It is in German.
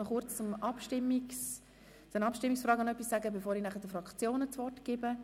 Kurz zum Abstimmungsprozedere, bevor ich den Fraktionen das Wort gebe.